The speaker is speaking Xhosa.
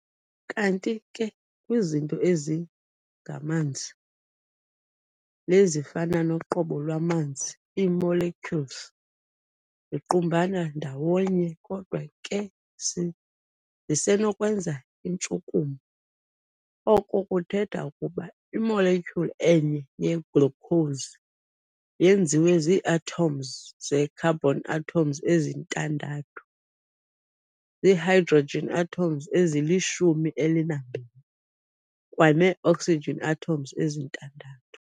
Kanti ke kwizinto ezilngamanzi lezifana noqobo lwamanzi, ii-molecules ziqumbana ndawonye kodwa ke zisenokwenza intshukumo. Oko kuthetha ukuba i-molecule enye ye-glucose yenziwe zii-atoms ze-carbon atoms ezintandathu, zii-hydrogen atoms ezilishumi elinambini kwanee-oxygen atoms ezintandathu.